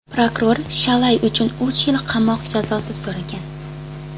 Prokuror Shalay uchun uch yil qamoq jazosini so‘ragan.